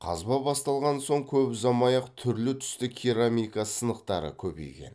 қазба басталған соң көп ұзамай ақ түрлі түсті керамика сынықтары көбейген